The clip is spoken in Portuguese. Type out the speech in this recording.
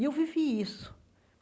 E eu vivi isso.